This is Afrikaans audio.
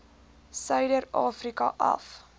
suider afrika af